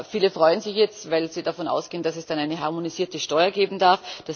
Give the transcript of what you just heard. Viele freuen sich jetzt, weil sie davon ausgehen, dass es dann eine harmonisierte Steuer geben darf.